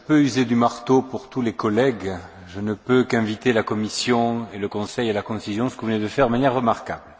Je peux user du marteau pour tous les collègues, je ne peux qu'inviter la Commission et le Conseil à la concision, ce que vous venez de faire de manière remarquable.